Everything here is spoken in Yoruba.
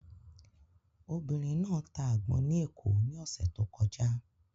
Obìnrin náà ta àgbọn ní Èkó ní ọ̀sẹ̀ tó kọjá.